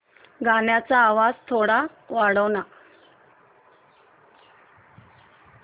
गाण्याचा आवाज थोडा कमी कर ना